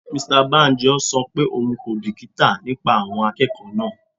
Mr Banjo ṣọ pé òun kò bìkítà nípa àwọn akẹ́kọ̀ọ́ náà.